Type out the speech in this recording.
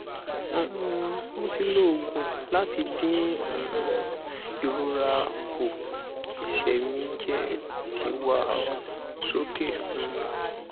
um mo ti lo ogun lati din um irora ku ese mi je ti wa soke um